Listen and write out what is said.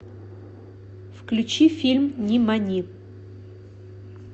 включи фильм нимани